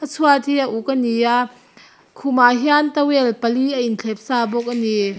a chhuat hi a uk a ni a khumah hian towel pali a in thlep sa bawk a ni.